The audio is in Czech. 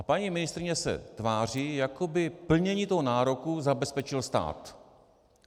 A paní ministryně se tváří jako by plnění toho nároku zabezpečil stát.